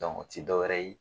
o tɛ dɔwɛrɛ ye.